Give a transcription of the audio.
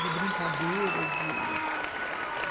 De brincadeira.